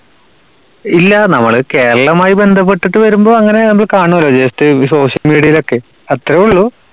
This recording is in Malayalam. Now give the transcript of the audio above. ഇല്ല. നമ്മള് കേരളമായി ബന്ധപ്പെട്ടിട്ട് വരുമ്പോ അങ്ങനെ നമ്മള് കാണൂലോ just social media യിലൊക്കെ. അത്രയുള്ളൂ.